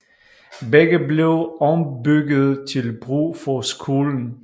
Begge blev ombygget til brug for skolen